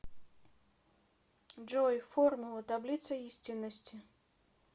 джой формула таблица истинности